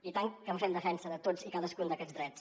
i tant que en fem defensa de tots i cadascun d’aquests drets